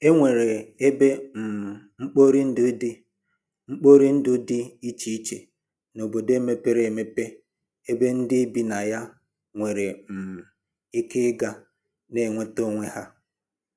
E nwere ebe um mkporindụ dị mkporindụ dị iche iche n'obodo mepere eme ebe ndị bi na ya nwere um ike ịga na-enweta onwe ha